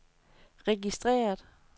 registreret